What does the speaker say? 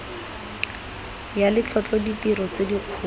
ya letlotlo ditiro tse dikgolo